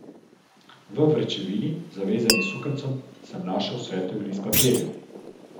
V vrečevini, zavezani s sukancem, sem našel svetel list papirja.